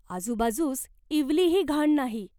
आजूबाजूस इवलीही घाण नाही.